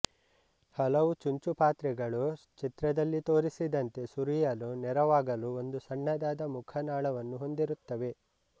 ಹಲವು ಚುಂಚುಪಾತ್ರೆಗಳು ಚಿತ್ರದಲ್ಲಿ ತೋರಿಸಿದಂತೆ ಸುರಿಯಲು ನೆರವಾಗಲು ಒಂದು ಸಣ್ಣದಾದ ಮುಖನಾಳವನ್ನೂ ಹೊಂದಿರುತ್ತವೆ